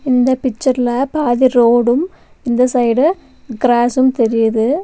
இந்த பிச்சர்ல பாதி ரோடும் இந்த சைடு கிராஸ்ஸும் தெரியிது.